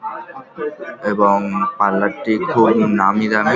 এবং পার্লার -টি খুব নামী দামি।